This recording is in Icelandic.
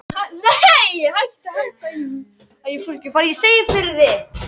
Sendir Árna Páli opið bréf